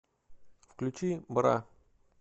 включи бра